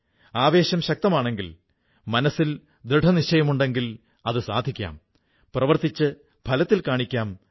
അവർ ദിവേസന തന്റെ സഞ്ചരിക്കുന്ന ലൈബ്രറിയുമായി ഏതെങ്കിലും ഗ്രാമത്തിലെത്തുന്നു അവിടെ കുട്ടികളെ പഠിപ്പിക്കുന്നു